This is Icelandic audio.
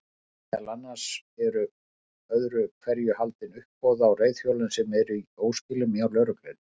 Meðal annars eru öðru hverju haldin uppboð á reiðhjólum sem eru í óskilum hjá lögreglunni.